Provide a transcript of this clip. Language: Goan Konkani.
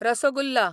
रसगुल्ला